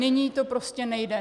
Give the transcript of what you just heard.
Nyní to prostě nejde.